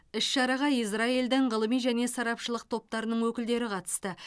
іс шараға израильдің ғылыми және сарапшылық топтарының өкілдері қатысты